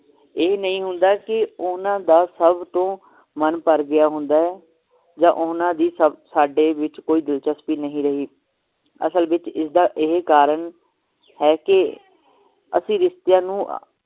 ਇਹ ਨਹੀਂ ਹੁੰਦਾ ਕਿ ਓਹਨਾ ਦਾ ਸਭ ਤੋਂ ਮਨ ਭਰ ਗਿਆ ਹੁੰਦਾ ਹੈ ਜਾ ਓਹਨਾ ਦੀ ਸਾਡੇ ਵਿਚ ਦਿਲਚਸਪੀ ਨਹੀਂ ਰਹੀ ਅਸਲ ਵਿਚ ਇਸ ਦਾ ਇਹ ਕਾਰਨ ਹੈ ਕੀ ਅਸੀਂ ਰਿਸ਼ਤੀਆਂ ਨੂੰ